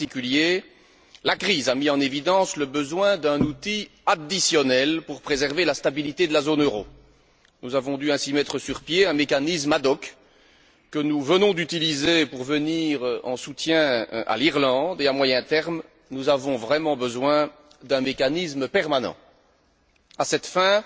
En particulier, la crise a mis en évidence le besoin d'un outil additionnel pour préserver la stabilité de la zone euro. Nous avons dû ainsi mettre sur pied un mécanisme ad hoc, que nous venons d'utiliser pour venir en soutien à l'Irlande et, à moyen terme, nous avons vraiment besoin d'un mécanisme permanent. À cette fin